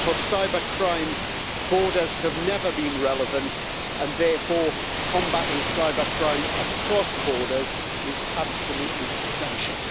For cybercrime, borders have never been relevant and therefore combating cybercrime across borders is absolutely essential.